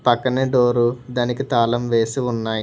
పక్కనే డోరు దానికి తాళం వేసి ఉన్నాయ్.